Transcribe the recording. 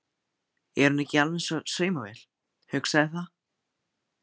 Er hún ekki alveg eins og saumavél, hugsaði það.